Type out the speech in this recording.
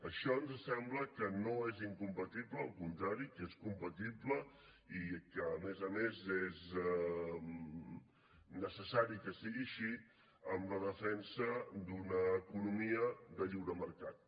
això ens sembla que no és incompatible al contrari que és compatible i que a més a més és necessari que sigui així amb la defensa d’una economia de lliure mercat